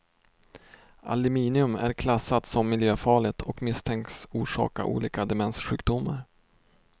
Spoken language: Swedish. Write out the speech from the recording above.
Aluminium är klassat som miljöfarligt och misstänks orsaka olika demenssjukdomar.